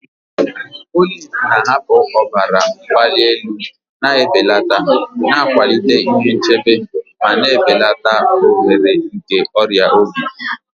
Oliv na-ahapụ ọbara mgbali elu na-ebelata, na-akwalite ihe nchebe, ma na-ebelata ohere nke ọrịa obi.